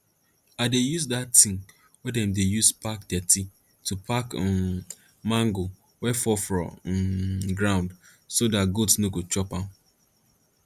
i dey use dat ting wey dem dey use pack dirty to pack um mango wey fall for um ground so dat goat no go chop am